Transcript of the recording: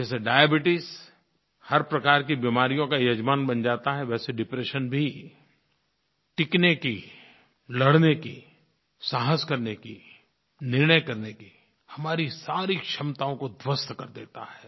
जैसे डायबीट्स हर प्रकार की बीमारियों का यजमान बन जाता है वैसे डिप्रेशन भी टिकने की लड़ने की साहस करने की निर्णय करने की हमारी सारी क्षमताओं को ध्वस्त कर देता है